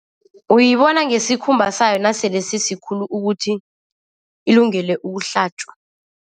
Uyibona ngesikhumba sayo nasele sisikhulu ukuthi ilungele ukuhlatjwa.